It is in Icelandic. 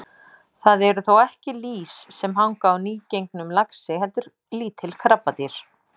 Það eru þó ekki lýs sem hanga á nýgengnum laxi heldur lítil krabbadýr.